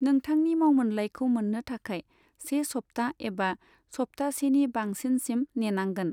नोंथांनि मावमोनलाइखौ मोननो थाखाय से सबथाह एबा सबथाह सेनि बांसिनसिम नेनांगोन।